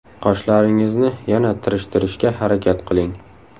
Qoshlaringizni yana tirishtirishga harakat qiling.